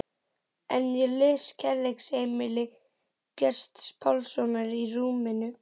En ég les Kærleiksheimili Gests Pálssonar í rúminu.